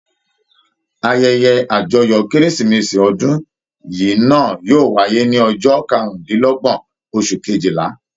Ayẹyẹ àjọyọ̀ Kérésìmesì ọdún yìí náà yóò wáyé ní ọjọ́ karùndínlọ́gbọ́n oṣù kejìlá.